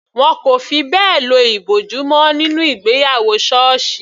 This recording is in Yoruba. Wọn kò fi bẹ́ẹ̀ lo ìbòjú mọ́ nínú ìgbéyàwó sọọsi.